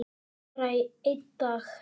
Bara í einn dag.